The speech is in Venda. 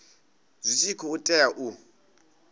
zwi tshi khou tea u